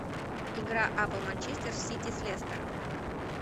игра апл манчестер сити с лестером